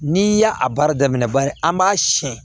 N'i y'a a baara daminɛ bari an b'a siyɛn